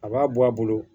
A b'a bɔ a bolo